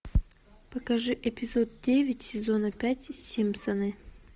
покажи эпизод девять сезона пять симпсоны